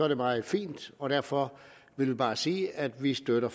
det meget fint og derfor vil jeg bare sige at vi støtter